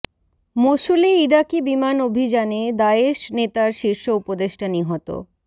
মসুলে ইরাকি বিমান অভিযানে দায়েশ নেতার শীর্ষ উপদেষ্টা নিহত